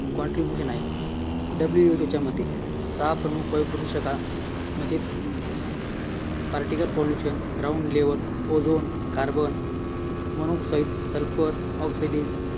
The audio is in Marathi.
contribution आहे WHO च्या मते सहा प्रमुख वायू प्रदूषकांमध्ये particle pollution ground level ozone corbon monoxide sulphur dioxide